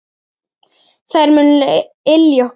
Þær munu ylja okkur.